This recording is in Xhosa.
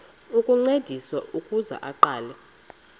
ukuncediswa ukuze aqale